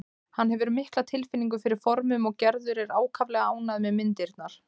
Hann hefur mikla tilfinningu fyrir formum og Gerður er ákaflega ánægð með myndirnar.